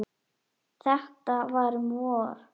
Þetta var um vor.